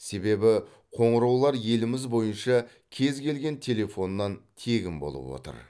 себебі қоңыраулар еліміз бойынша кез келген телефоннан тегін болып отыр